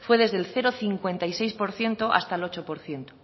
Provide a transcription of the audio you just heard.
fue desde el cero coma cincuenta y seis por ciento hasta el ocho por ciento